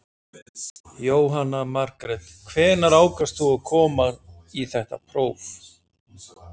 Jóhanna Margrét: Hvenær ákvaðst þú að koma í þetta próf?